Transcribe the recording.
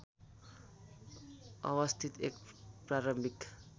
अवस्थित एक प्रारम्भिक